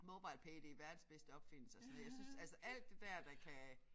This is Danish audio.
MobilePay det verdens bedste opfindelse og sådan noget jeg synes altså alt det der der kan